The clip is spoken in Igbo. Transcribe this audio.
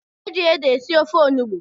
Eji ede esi ofe onugbu